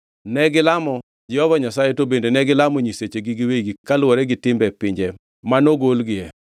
Negilamo Jehova Nyasaye to bende negilamo nyisechegi giwegi kaluwore gi timbe pinje manogolgie.